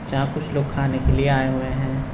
जहां कुछ लोग खाने के लिए आए हुए है।